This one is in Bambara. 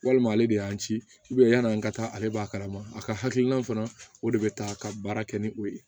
Walima ale de y'an ci yan'an ka taa ale b'a kalama a ka hakilina fana o de bɛ taa ka baara kɛ ni o ye